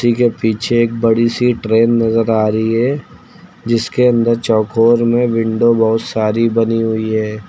के पीछे एक बड़ी सी ट्रेन नजर आ रही है जिसके अंदर चौकोर में विंडो बहोत सारी बनी हुई है।